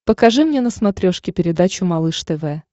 покажи мне на смотрешке передачу малыш тв